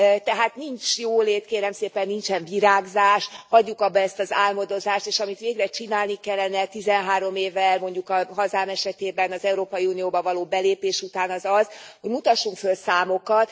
Tehát nincs jólét kérem szépen, nincsen virágzás, hagyjuk abba ezt az álmodozást, és amit végre csinálni kellene tizenhárom éve, mondjuk a hazám esetében az Európai Unióba való belépés után, az az, hogy mutassunk föl számokat.